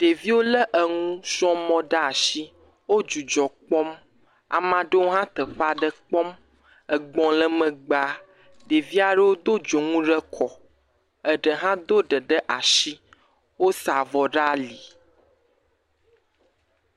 Ɖeviwo le nukpɔmɔ ɖe asi. Wo dzidzɔ kpɔm. Ame aɖewo hã le teƒe aɖe kpɔm. Egb le megba, ɖevi aɖewo do dzonu ɖe kɔ, eɖe hã do ɖe ɖe asi. Wosa avɔ ɖe ali